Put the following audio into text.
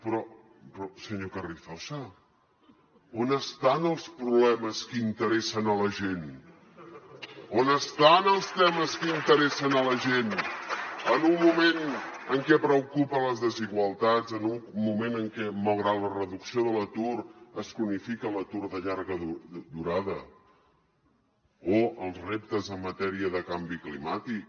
però senyor carrizosa on estan els problemes que interessen a la gent on estan els temes que interessen a la gent en un moment en què preocupen les desigualtats en un moment en què malgrat la reducció de l’atur es cronifica l’atur de llarga durada o els reptes en matèria de canvi climàtic